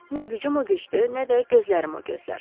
Nə gücüm o gücdür, nə də gözlərim o gözlər.